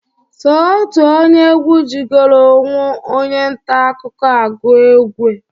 Sọ otu onye egwu jigolu ọnwụ onye ntaakụkọ a gụọ egwe.